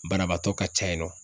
Banabaatɔ ka ca yen nɔ.